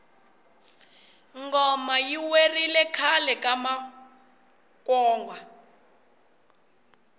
ngoma yi werile khale ka makwonga